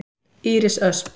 Íris Ösp.